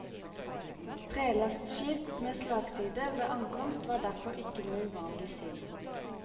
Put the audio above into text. Trelastskip med slagside ved ankomst var derfor ikke noe uvanlig syn.